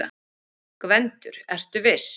GVENDUR: Ertu viss?